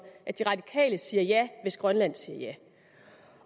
at de radikale siger ja hvis grønland siger ja